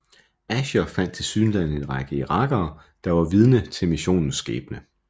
Asher fandt tilsyneladende en række irakere der var vidner til missionens skæbne